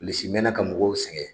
Bilisi mɛnna ka mɔgɔw sɛgɛn